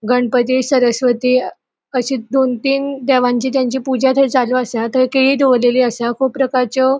गणपती सरस्वती अशे दोन तीन देवांची ताची पूजा थंय चालू असा. थंय केळी दोवोरलेली असा कुब प्रकारचो --